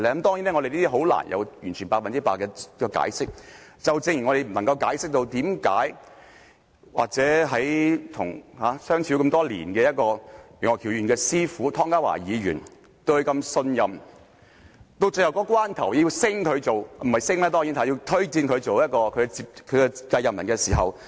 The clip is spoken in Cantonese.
當然，我們難以就此獲得百分之百的解釋，正如我無法解釋為何楊岳橋議員與其師父湯家驊議員相處多年，師父曾對他如此信任，要推薦他做其繼任人，但到了投票的一刻也說不支持他。